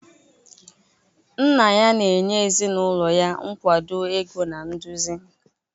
Nna ya na-enye ezinụlọ ya nkwado ego na nduzi.